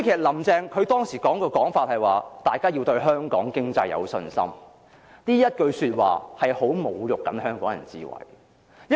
"林鄭"當時的說法是，"大家要對香港經濟有信心"，但這句說話是相當侮辱香港人的智慧。